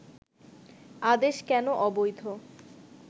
আদেশ কেন অবৈধ